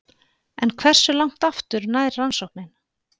En hversu langt aftur nær rannsóknin?